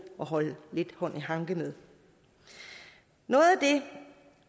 at holde hånd i hanke med noget af det